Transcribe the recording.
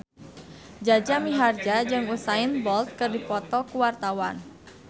Jaja Mihardja jeung Usain Bolt keur dipoto ku wartawan